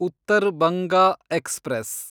Uttar Banga express